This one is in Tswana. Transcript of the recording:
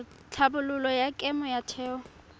tlhabololo ya kemo ya theo